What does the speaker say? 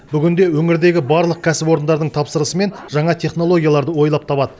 бүгінде өңірдегі барлық кәсіпорындардың тапсырысымен жаңа технологияларды ойлап табады